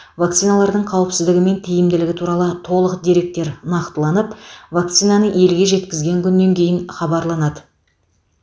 вакциналардың қауіпсіздігі мен тиімділігі туралы толық деректер нақтыланып вакцинаны елге жеткізген күннен кейін хабарланады